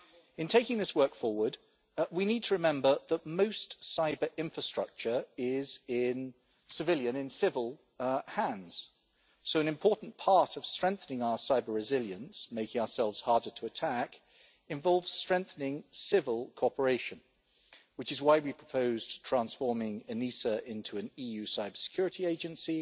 In taking this work forward, we need to remember that most cyber-infrastructure is in civilian hands, so an important part of strengthening our cyber-resilience making ourselves harder to attack involves strengthening civil cooperation, which is why we proposed transforming ENISA into an EU cybersecurity agency